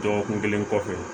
Dɔgɔkun kelen kɔfɛ